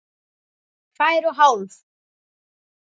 Tvær og hálf.